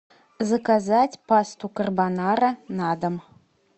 заказать пасту карбонара на дом